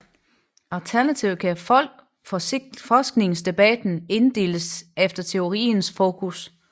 Alternativt kan forskningsdebatten inddeles efter teoriernes fokus